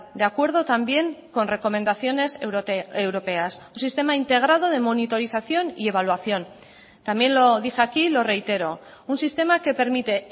de acuerdo también con recomendaciones europeas un sistema integrado de monitorización y evaluación también lo dije aquí y lo reitero un sistema que permite